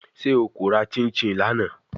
Ṣe o ko ra chinchin lana?